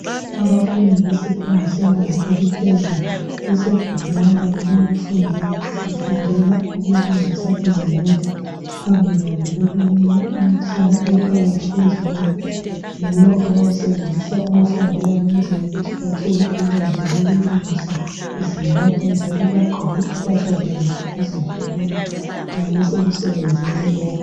Abafundi besifundo sebanga eliphezulu basegumeni labo lokufundela, befundela ukulungisa izimota phambi kwabo kulomunye umtshina ophakathi kwezimota yiwo abawusebenzisa ukufundela ukwenzela ukuthi bathole ulwazi lokulungisa izimota njalo bagqoke impahla zabo zokuzivikela nxa besemsenzini lowu.